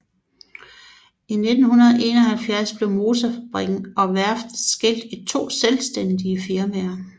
I 1971 blev motorfabrikken og værftet skilt i to selvstændige firmaer